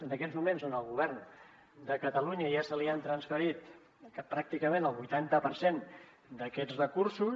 en aquests moments al govern de catalunya ja se li ha transferit pràcticament el vuitanta per cent d’aquests recursos